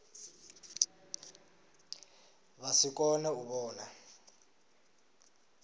vha si kone u vhona